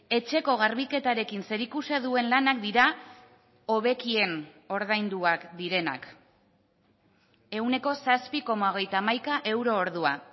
etxeko garbiketarekin zerikusia duen lanak dira hobekien ordainduak direnak ehuneko zazpi koma hogeita hamaika euro ordua